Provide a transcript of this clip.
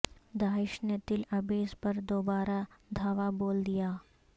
داعش نے تل عبیض پر دوبارہ دھاوا بول دیا